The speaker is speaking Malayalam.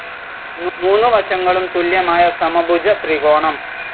മൂന്ന് വശങ്ങളും തുല്യമായ സമഭുജ ത്രികോണം